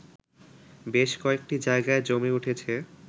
বেশ কয়েকটি জায়গায় জমে উঠেছে